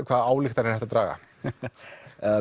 hvaða ályktanir er hægt að draga